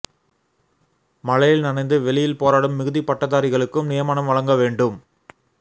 மழையில் நனைந்து வெளியில் போராடும் மிகுதி பட்டதாரிகளுக்கும் நியமனம் வழங்க வேண்டும்